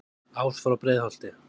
ás frá breiðholti